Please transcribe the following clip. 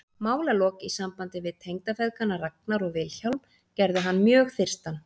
Málalok í sambandi við tengdafeðgana Ragnar og Vilhjálm gerðu hann mjög þyrstan.